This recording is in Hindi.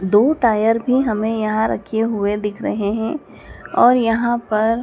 दो टायर भी हमें यहाँ रखे हुए दिख रहे हैं और यहाँ पर --